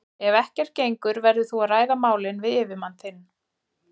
Ef ekkert gengur verður þú að ræða málin við yfirmann þinn.